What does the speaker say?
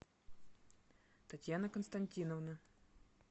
татьяна константиновна